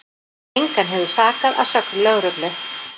Engan hefur sakað að sögn lögreglu